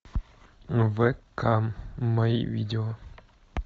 вк мои видео